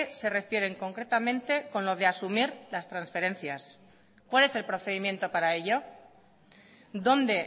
se refieren concretamente con lo de asumir las transferencias cuál es el procedimiento para ello dónde